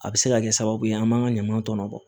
A bɛ se ka kɛ sababu ye an b'an ka ɲaman tɔnɔ bɔ